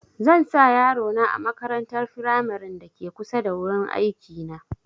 Zan sa yaro na a makarantar firamaren da ke kusa da wurin aiki na